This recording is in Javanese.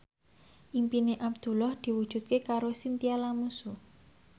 impine Abdullah diwujudke karo Chintya Lamusu